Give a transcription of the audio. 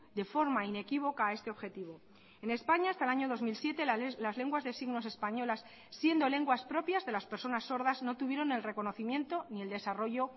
de forma inequívoca a este objetivo en españa hasta el año dos mil siete las lenguas de signos españolas siendo lenguas propias de las personas sordas no tuvieron el reconocimiento ni el desarrollo